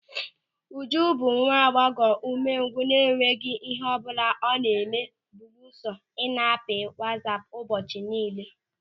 Ụjụ bụ nwa agbọghọ ụmengwụ na-enweghị ịhe ọbụla ọ na-eme belusọ ị na-apị wasaapu ụbọchị niile.